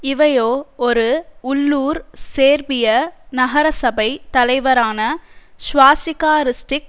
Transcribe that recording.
இவையோ ஒரு உள்ளூர் சேர்பிய நகரசபை தலைவரான ஸ்வாஸிக்கா றிஸ்டிக்